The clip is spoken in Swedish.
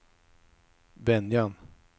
Venjan